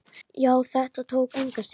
Já, þetta tók enga stund.